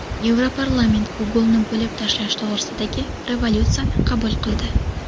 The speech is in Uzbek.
Yevroparlament Google’ni bo‘lib tashlash to‘g‘risidagi rezolyutsiyani qabul qildi.